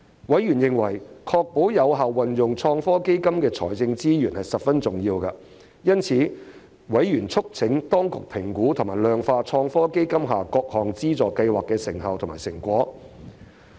委員認為確保有效運用創科基金的財政資源十分重要，因此，委員促請當局評估及量化創科基金下各項資助計劃的成效及成果。